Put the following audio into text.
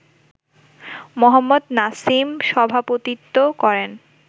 মোহাম্মদ নাসিম সভাপতিত্ব করেন